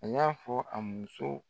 A y'a fɔ a muso